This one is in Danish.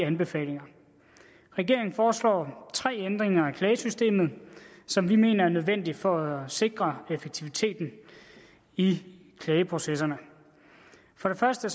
anbefalinger regeringen foreslår tre ændringer af klagesystemet som vi mener er nødvendige for at sikre effektiviteten i klageprocesserne for det første